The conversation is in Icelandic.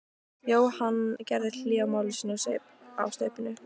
Jóhann gerði hlé á máli sínu og saup á staupinu.